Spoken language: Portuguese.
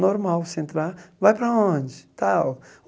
Normal, se entrar, vai para onde? Tal